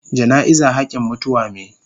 Jana'iza hakin mutuwa me.